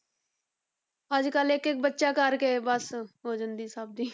ਅੱਜ ਕੱਲ੍ਹ ਇੱਕ ਇੱਕ ਬੱਚਾ ਕਰਕੇ ਬਸ ਹੋ ਜਾਂਦੀ ਹੈ ਸਭ ਦੀ।